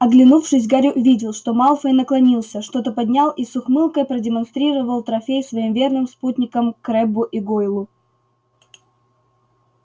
оглянувшись гарри увидел что малфой наклонился что-то поднял и с ухмылкой продемонстрировал трофей своим верным спутникам крэббу и гойлу